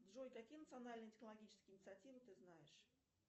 джой какие национальные технологические инициативы ты знаешь